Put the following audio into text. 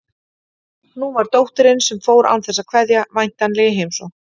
Nú var dóttirin, sem fór án þess að kveðja, væntanleg í heimsókn.